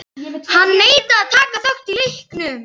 Hann neitar að taka þátt í leiknum.